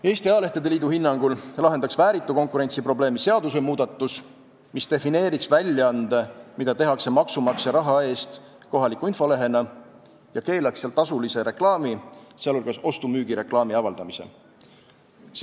Eesti Ajalehtede Liidu hinnangul lahendaks vääritu konkurentsi probleemi seadusmuudatus, mis defineeriks väljaande, mida tehakse maksumaksja raha eest, kohaliku infolehena ja mis keelaks seal tasulise reklaami, sh ostu-müügi reklaami avaldamise.